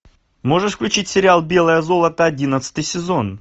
можешь включить сериал белое золото одиннадцатый сезон